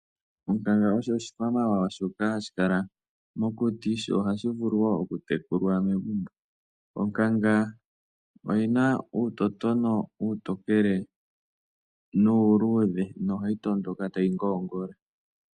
Onkanga osho shikwamawawa shoka hashi kala mokuti, sho ohashi vulu woo okutekulwa megumbo. Onkanga oyina uutotono uutokele nuuludhe, nohayi tondoka tayi ngoongola.